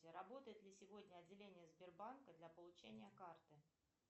работает ли сегодня отделение сбербанка для получения карты